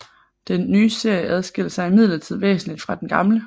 Den nye serie adskiller sig imidlertid væsenligt fra den gamle